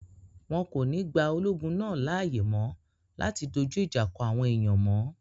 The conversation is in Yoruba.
Wọn kò ní gba ológun náà láàyè mọ́ láti dojú ìjà kọ àwọn èèyàn mọ́